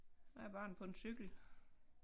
Æ barn på en cykel